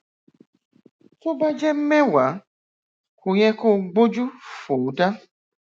tó bá jẹ mẹwàá kò yẹ kó o gbójú fò ó dá